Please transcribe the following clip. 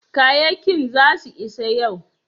kayakin za su isa yau?